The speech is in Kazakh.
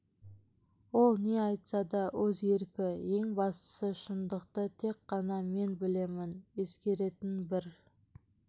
ол не айтса да өз еркі ең бастысы шындықты тек қана мен білемін ескеретін бір